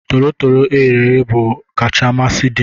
Tolotolo eghere eghe bu kacha amasi dim